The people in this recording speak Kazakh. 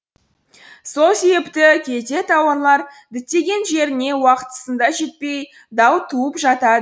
сол себепті кейде тауарлар діттеген жеріне уақытысында жетпей дау туып жатады